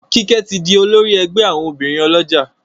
Kike tí dì olórí ègbé àwọn obìrin olójà